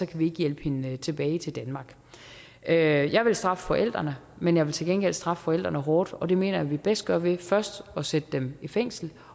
kan hjælpe hende tilbage til danmark jeg vil straffe forældrene men jeg vil til gengæld straffe forældrene hårdt og det mener jeg at vi bedst gør ved først at sætte dem i fængsel